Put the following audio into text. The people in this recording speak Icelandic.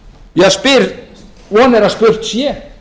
ég spyr von er að spurt sé